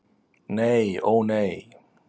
Nei, ó nei.